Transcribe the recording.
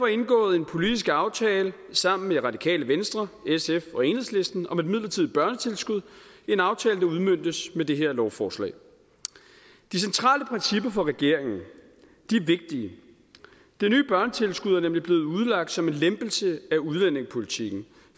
indgået en politisk aftale sammen med det radikale venstre sf og enhedslisten om et midlertidigt børnetilskud en aftale der udmøntes med det her lovforslag de centrale principper for regeringen er vigtige det nye børnetilskud er nemlig blevet udlagt som en lempelse af udlændingepolitikken